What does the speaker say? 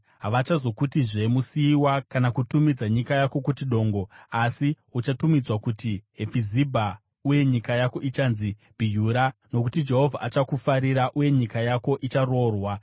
Havachazokutizve Musiyiwa, kana kutumidza nyika yako kuti Dongo. Asi uchatumidzwa kuti Hefizibha uye nyika yako ichanzi Bhiyura; nokuti Jehovha achakufarira, uye nyika yako icharoorwa.